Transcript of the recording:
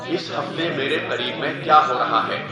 اس ہفتے میرے قریب میں کیا ہو ریا ہے